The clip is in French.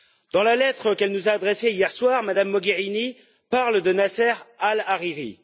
Dans la lettre qu'elle nous adressée hier soir, Mme Mogherini parle de Nasser Al Hariri.